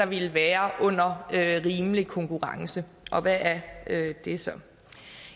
ville være under rimelig konkurrence og hvad er det så